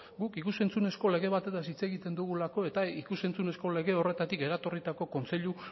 guk ikus entzunezko lege batetaz hitz egiten dugulako eta ikus entzunezko lege horretatik eratorritako kontseilu